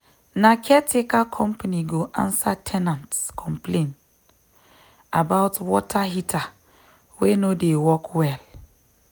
na caretaker company go answer ten ant complaint about water heater wey no dey work well.